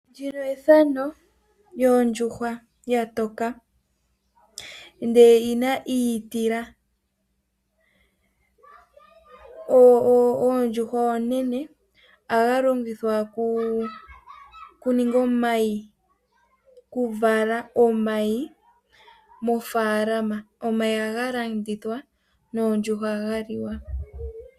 Ndino ethano lyondjuhwa yatoka ndele oyina iitila, ondjuhwa onene ayi longithwa okuninga omayi oku vala omayi mofaalama, omayi agalandithwa noondjuhwa adhi liwa.